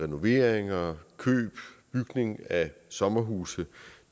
renoveringer køb og bygning af sommerhuse